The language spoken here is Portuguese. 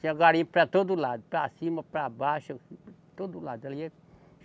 Tinha garimpo para todo lado, para cima, para baixo, todo lado ali.